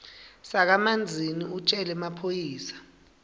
sakamanzini utjele emaphoyisa